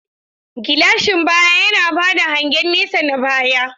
Gilashin baya yana ba da hangen nesa na baya.